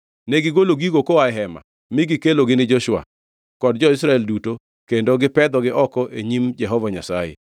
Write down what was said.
Negigolo gigo koa e hema, mi gikelogi ni Joshua kod jo-Israel duto kendo gipedhogi oko e nyim Jehova Nyasaye.